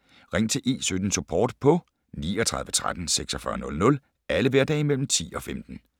Ring til E17-Support på 39 13 46 00 alle hverdage mellem kl. 10 og 15